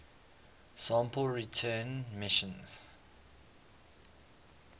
sample return missions